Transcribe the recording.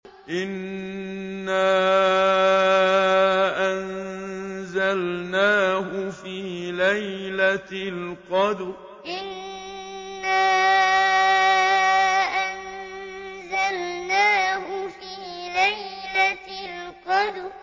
إِنَّا أَنزَلْنَاهُ فِي لَيْلَةِ الْقَدْرِ إِنَّا أَنزَلْنَاهُ فِي لَيْلَةِ الْقَدْرِ